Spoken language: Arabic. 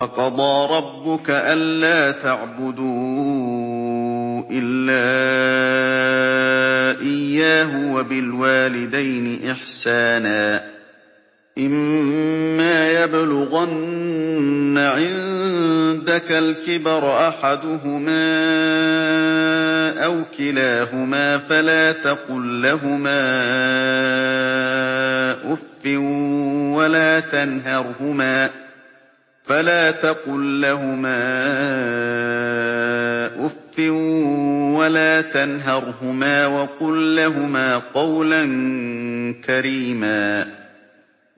۞ وَقَضَىٰ رَبُّكَ أَلَّا تَعْبُدُوا إِلَّا إِيَّاهُ وَبِالْوَالِدَيْنِ إِحْسَانًا ۚ إِمَّا يَبْلُغَنَّ عِندَكَ الْكِبَرَ أَحَدُهُمَا أَوْ كِلَاهُمَا فَلَا تَقُل لَّهُمَا أُفٍّ وَلَا تَنْهَرْهُمَا وَقُل لَّهُمَا قَوْلًا كَرِيمًا